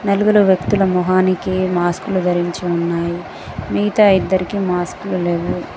నలుగురు వ్యక్తుల మొహానికి మాస్కులు ధరించి ఉన్నాయి మిగతా ఇద్దరికీ మాస్కులు లేవు.